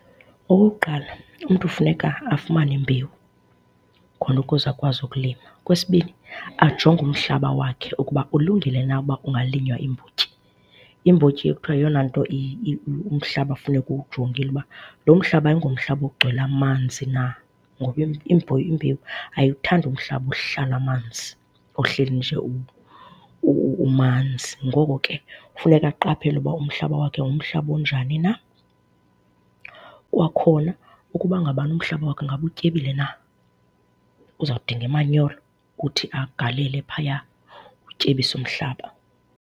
Okokuqala, umntu funeka afumane imbewu khona ukuze akwazi ukulima. Okwesibini, ajonge umhlaba wakhe ukuba ulungile na uba ungalinywa iimbotyi. Imbotyi kuthiwa yeyona nto umhlaba kufuneka ujongile uba, lo mhlaba ayingomhlaba ugcwele amanzi na ngoba imbewu ayiwuthandi umhlaba ohlala amanzi ohleli nje umanzi. Ngoko ke funeka aqaphele uba umhlaba wakhe ngumhlaba onjani na. Kwakhona ukuba ngabana umhlaba wakhe ingaba utyebile na, uzawudinga imanyolo ukuthi agalele phaya ukutyebisa umhlaba.